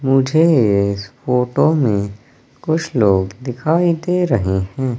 मुझे इस फोटो में कुछ लोग दिखाई दे रहे हैं।